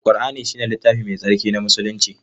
Al-Qur'ani ne littafi Mai Tsarki na Musulmi.